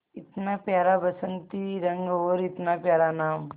इतना प्यारा बसंती रंग और इतना प्यारा नाम